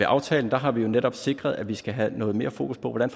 aftalen har vi netop sikret at vi skal have noget mere fokus på hvordan